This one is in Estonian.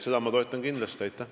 Seda ma kindlasti toetan.